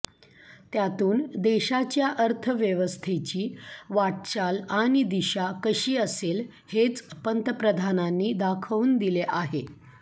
त्यातून देशाच्या अर्थव्यवस्थेची वाटचाल आणि दिशा कशी असेल हेच पंतप्रधानांनी दाखवून दिले आहे